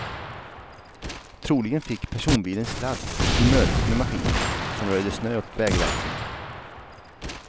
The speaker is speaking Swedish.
Troligen fick personbilen sladd vid mötet med maskinen, som röjde snö åt vägverket.